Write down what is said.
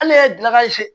Hali ne ye dilankare